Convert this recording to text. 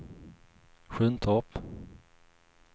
Sjuntorp